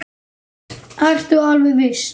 Ertu alveg viss?